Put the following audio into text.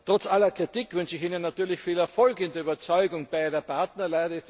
Trotz aller Kritik wünsche ich Ihnen natürlich viel Erfolg bei der Überzeugung beider Partner.